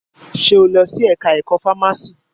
Ṣe o lọ sí ẹka ẹ̀kọ́ fámási?